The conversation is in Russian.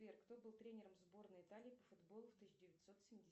сбер кто был тренером сборной италии по футболу в тысяча девятьсот